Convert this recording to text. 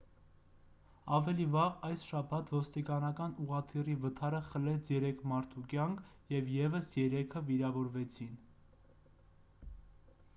ավելի վաղ այս շաբաթ ոստիկանական ուղղաթիռի վթարը խլեց երեք մարդու կյանք և ևս երեքը վիրավորվեցին